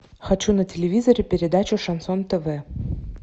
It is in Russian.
хочу на телевизоре передачу шансон тв